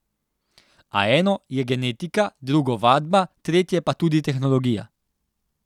A eno je genetika, drugo vadba, tretje pa tudi tehnologija.